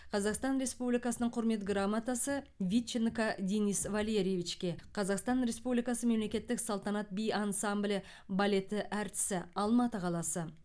қазақстан республикасының құрмет грамотасы витченко денис валерьевичке қазақстан республикасы мемлекеттік салтанат би ансамблі балеті әртісі алматы қаласы